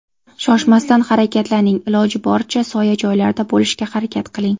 Shoshmasdan harakatlaning, iloji boricha soya joylarda bo‘lishga harakat qiling.